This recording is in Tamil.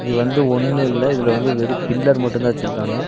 இது வந்து ஒன்னு இல்ல இதுல வந்து வெறு பில்லர் மட்டு தா வெச்சிருக்காங்க.